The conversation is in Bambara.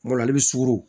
Kuma dɔ la i bɛ suguru